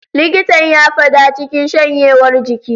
Likitan ya fada cikin shanyewar jiki.